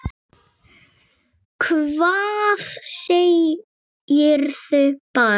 Hvað segirðu barn?